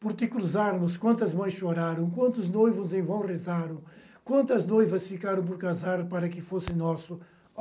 Por te cruzarmos, quantas mães choraram, quantos noivos em vão rezaram, quantas noivas ficaram por casar para que fosse nosso.